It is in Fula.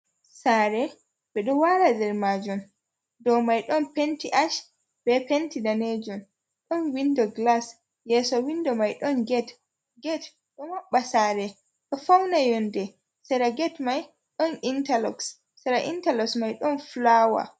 Saare, ɓe ɗo laara nder maajum. Dow mai ɗon penti ash bee penti danejum. Ɗon windo glas, yeeso windo mai ɗon get. Get ɗo maɓɓa saare, ɗo fauna yonde. Sera get mai, ɗon intalok sera intalok mai ɗon fulaawa.